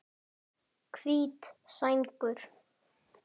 Prestur er Arndís Linn.